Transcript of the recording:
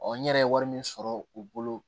n yɛrɛ ye wari min sɔrɔ u bolo